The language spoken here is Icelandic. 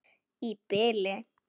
Í bili.